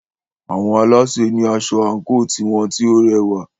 Àwọn alásè ní asọ àńkò tiwọn tí o rẹwà.